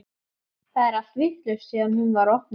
Það er allt vitlaust síðan hún var opnuð.